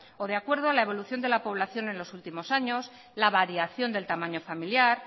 o de acuerdo a la evolución de la población en los últimos años la variación del tamaño familiar